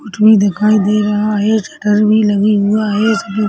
उठ भी दिखाई दे रहा है शटर भी लगी हुआ है --